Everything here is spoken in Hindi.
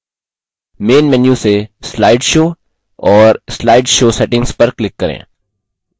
main menu से slide show और slide show settings पर click करें